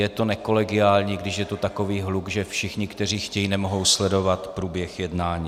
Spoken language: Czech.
Je to nekolegiální, když je tu takový hluk, že všichni, kteří chtějí, nemohou sledovat průběh jednání.